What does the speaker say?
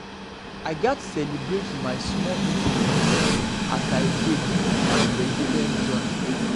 i gats celebrate small victories as i dey build my resilience journey.